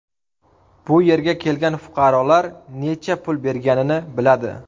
Bu yerga kelgan fuqarolar necha pul berganini biladi.